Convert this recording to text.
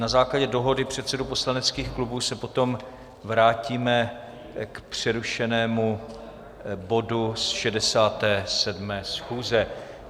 Na základě dohody předsedů poslaneckých klubů se potom vrátíme k přerušenému bodu z 67. schůze.